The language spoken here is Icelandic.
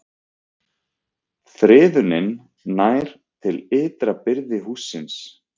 Friðunin nær til ytra byrðis hússins